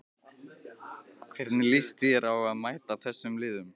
Hvernig líst þér á að mæta þessum liðum?